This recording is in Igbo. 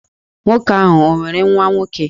Nwoke ahụ o nwere nwa nwoke?